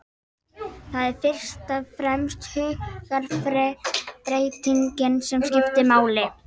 Það er fyrst og fremst hugarfarsbreytingin sem skiptir máli.